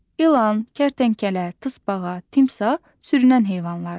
İlan, kərtənkələ, tısbağa, timsah sürünən heyvanlardır.